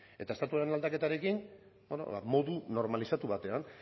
eta estatuaren aldaketarekin beno ba modu normalizatu batean